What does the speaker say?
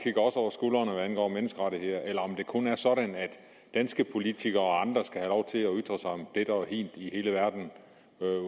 over menneskerettigheder eller om det kun er sådan at danske politikere og sig om dette og hint i hele verden